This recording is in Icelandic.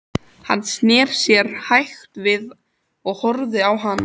Hann sneri sér hægt við og horfði á hana.